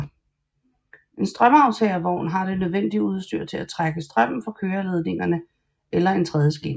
En strømaftagervogn har det nødvendige udstyr til at trække strømmen fra køreledningerne eller en tredjeskinne